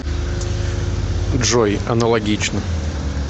джой аналогично